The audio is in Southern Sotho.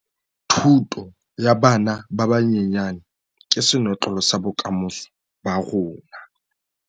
Thuto ya bana ba banyenyane ke senotlolo sa bokamoso ba rona